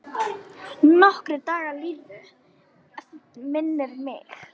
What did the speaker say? Nokkrir dagar liðu, minnir mig.